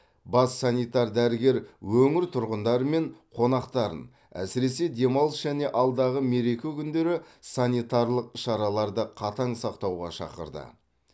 бас санитар дәрігер өңір тұрғындары мен қонақтарын әсіресе демалыс және алдағы мереке күндері санитарлық шараларды қатаң сақтауға шақырды